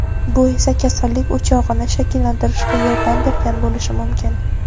bu esa kasallik "o‘chog‘ini" shakllantirishga yordam bergan bo‘lishi mumkin.